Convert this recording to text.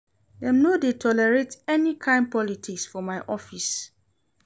Dem no dey tolerate any kain politics for my office.